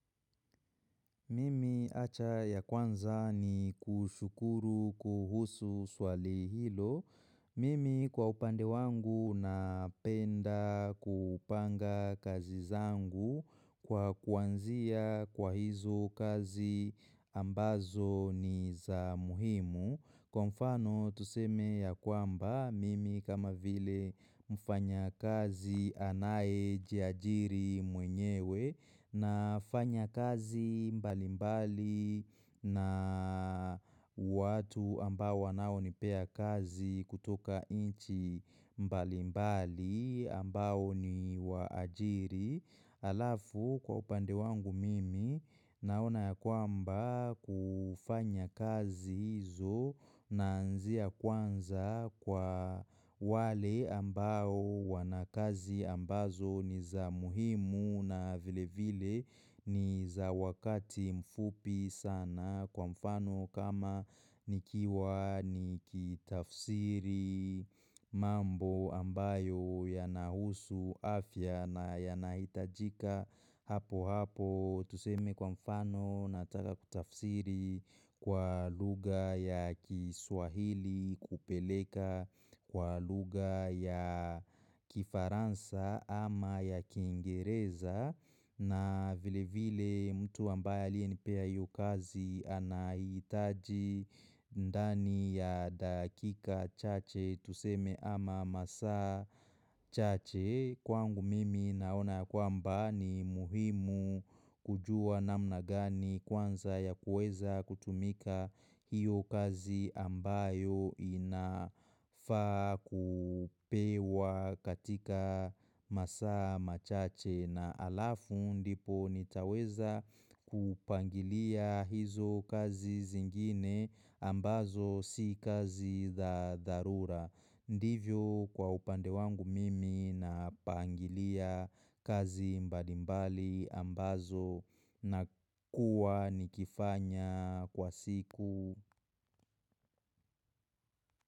Mimi haja ya kwanza ni kushukuru kuhusu swali hilo. Mimi kwa upande wangu napenda kupanga kazi zangu kwa kuanzia kwa hizo kazi ambazo ni za muhimu. Kwa mfano tuseme ya kwamba mimi kama vile mfanya kazi anaye jiajiri mwenyewe na fanya kazi mbali mbali na watu ambao wanao nipea kazi kutoka inchi mbali mbali ambao ni waajiri. Alafu kwa upande wangu mimi naona ya kwamba kufanya kazi hizo naanzia kwanza kwa wale ambao wanakazi ambazo ni za muhimu na vile vile ni za wakati mfupi sana Kwa mfano kama nikiwa nikitafsiri mambo ambayo yanahusu afya na yanahitajika hapo hapo Tuseme kwa mfano nataka kutafsiri kwa lugha ya kiswahili kupeleka kwa lugha ya kifaransa ama ya kingereza na vile vile mtu ambaye aliye nipea hiyo kazi anahitaji ndani ya dakika chache tuseme ama masaa chache Kwangu mimi naona kwamba ni muhimu kujua namna gani kwanza ya kueza kutumika hiyo kazi ambayo inafaa kupewa katika masaa machache na alafu ndipo nitaweza kupangilia hizo kazi zingine ambazo si kazi da dharura Ndivyo kwa upande wangu mimi na pangilia kazi mbalimbali ambazo na kuwa nikifanya kwa siku.